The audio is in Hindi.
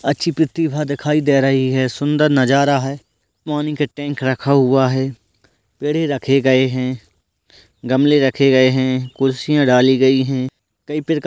अच्छी प्रतिभा दिखाई दे रही है सुंदर नजारा है पानी का टैंक रखा हुआ है पेड़ ही रखे गए हैं गमले रखे गए हैं कुर्सियाँ डाली गई हैं कई प्रकार --